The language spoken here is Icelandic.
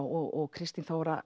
og Kristín Þóra